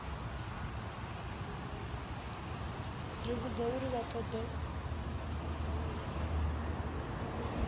ri vhudza uri vha ṱoḓa